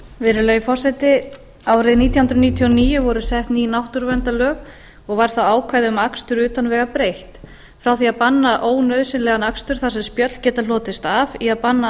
virðulegi forseti árið nítján hundruð níutíu og níu voru sett ný náttúruverndarlög og var þar ákvæði um akstur utan vega breytt frá því að banna ónauðsynlegan akstur þar sem spjöll geta hlotist af eigi að banna